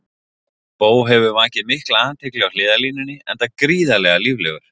Bo hefur vakið mikla athygli á hliðarlínunni enda gríðarlega líflegur.